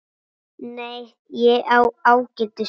Nei, ég á ágætis hús.